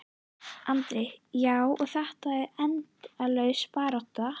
Andri: Já, og þetta er endalaus barátta?